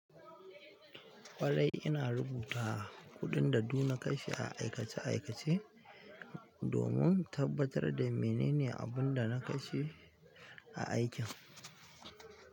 Ƙwarai ina rubuta kuɗin da duk na kashe a aikace-aikace domin tabbatar da menene abin da na kashe a aikin.